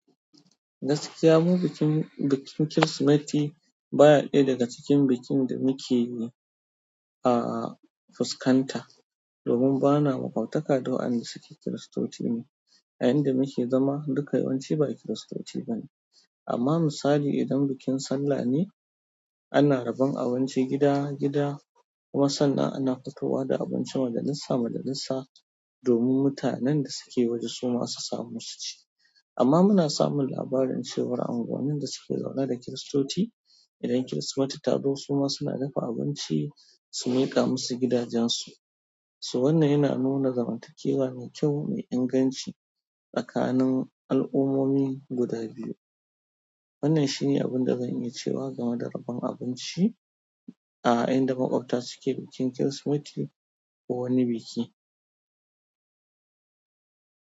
Gaskiya, mu bikin bikin Kirsimeti baya ɗaya daga cikin bikin da muke yi a fuskanta domin ba na maƙwabtaka da wa'anda da suke kiristoci ne. A inda muke zama, duka yawanci ba kiristoci ba ne, amma misali idan bikin sallah ne, ana rabon abinci gida-gida. Kuma sannan ana fitowa da abinci majalisa majalisa domin mutanen da suke waje suma su samu su ci amma muna samun labarin cewa anguwannin da suke zaune da kiristoci idan Kirsimeti ta zo su ma suna dafa abinci su miƙa musu gidajensu. Wannan yana nuna zamantakewa mai kyau, mai inganci tsakanin al'ummomi guda biyu. Wannan shi ne abin da zan yi cewa game da rabon abinci a inda maƙwabta suke bikin Kirsimeti ko wani biki.